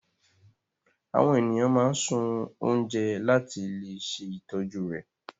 Àwọn ènìyàn máa sun oúnjẹ láti le ṣe ìtọ́jú rẹ̀.